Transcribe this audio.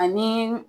Ani